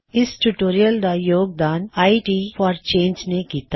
ਇਸ ਟਿਊਟੋਰਿਯਲ ਦਾ ਯੋਗਦਾਨ ਆਈ ਟੀ ਫੌਰ ਚੇੰਜ ਨੇ ਕੀਤਾ